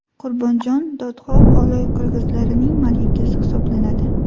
Qurbonjon dodxoh Oloy qirg‘izlarining malikasi hisoblanadi.